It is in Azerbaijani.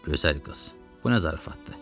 Gözəl qız, bu nə zarafatdır?